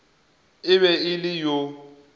e be e le yo